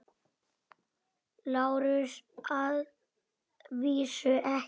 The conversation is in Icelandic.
LÁRUS: Að vísu ekki.